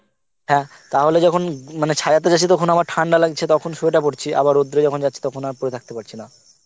হ্যাঁ তাহলে যখন উম মানে ছায়াতে যাচ্ছি তখন তখন আবার ঠান্ডা লাগছে তখন sweater পরছি আবার রোদ্দুরে যখন যাচ্ছি তখন আবার পরে থাকতে পারছি না